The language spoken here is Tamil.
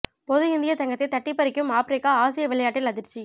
பொது இந்திய தங்கத்தை தட்டிப் பறிக்கும் ஆப்ரிக்கா ஆசிய விளையாட்டில் அதிர்ச்சி